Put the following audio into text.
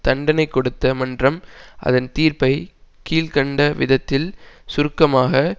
தண்டனை கொடுத்த மன்றம் அதன் தீர்ப்பை கீழ் கண்ட விதத்தில் சுருக்கமாக